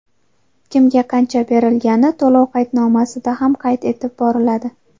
Kimga qancha berilgani to‘lov qaydnomasida ham qayd etib boriladi.